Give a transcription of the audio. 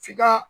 F'i ka